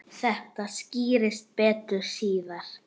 Þetta skýrist betur síðar.